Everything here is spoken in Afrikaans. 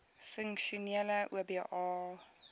funksionele oba